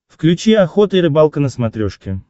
включи охота и рыбалка на смотрешке